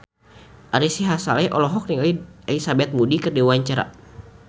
Ari Sihasale olohok ningali Elizabeth Moody keur diwawancara